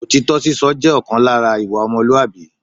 Òtítọ́ sísọ jẹ́ ọ̀kan lára ìwà ọmọlúwàbí